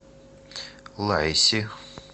лайси